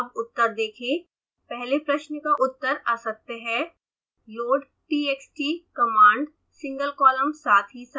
अब उत्तर देखें पहले प्रश्न का उत्तर असत्य है